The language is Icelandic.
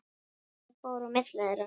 Hvað fór á milli þeirra?